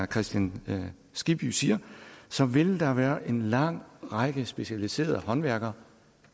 kristian skibby siger så vil der være en lang række specialiserede håndværkere